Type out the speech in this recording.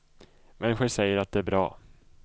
Människor säger att det är bra.